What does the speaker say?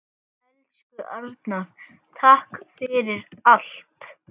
Elsku Arnar, takk fyrir allt.